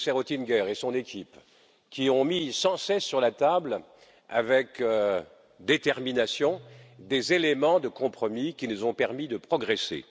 le commissaire Oettinger et son équipe, qui ont mis sans cesse sur la table, avec détermination, des éléments de compromis qui nous ont permis de progresser.